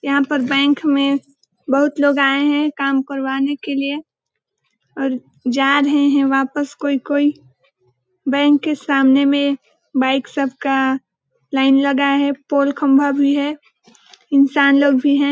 यहाँ पर बैंक में बहुत लोग आए है काम करवाने के लिए और जा रहे है वापिस कोई कोई बैंक के सामने में बाइक सब का लाइन लगा है पोल खंबा भी है इंसान लोग भी हैं।